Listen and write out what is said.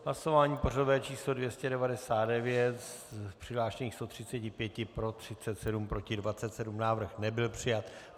Hlasování pořadové číslo 299, z přihlášených 135 pro 37, proti 27, návrh nebyl přijat.